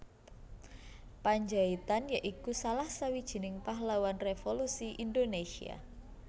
Pandjaitan ya iku salah sawijining pahlawan revolusi Indonésia